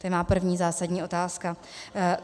To je má první zásadní otázka.